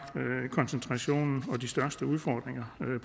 koncentrationen og de største udfordringer med